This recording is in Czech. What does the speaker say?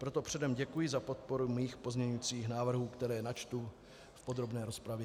Proto předem děkuji za podporu mých pozměňujících návrhů, které načtu v podrobné rozpravě.